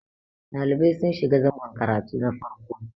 ɗalibai sun shiga zangon karatu na farko